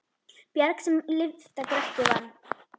Bjarg sem lyfta Grettir vann.